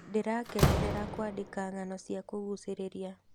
Ndĩrakenerera kũandĩka ng'ano cia kũgucĩrĩria.